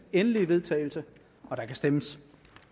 endelige vedtagelse og der kan stemmes